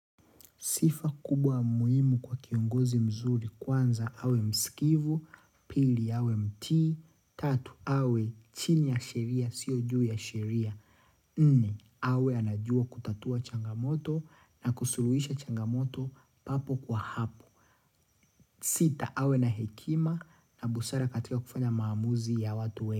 Sifa kubwa muhimu kwa kiongozi mzuri kwanza awe msikivu, pili awe mtii, tatu awe chini ya sheria, sio juu ya sheria. Nne, awe anajua kutatua changamoto na kusuluhisha changamoto papo kwa hapo. Sita awe na hekima na busara katika kufanya maamuzi ya watuwe.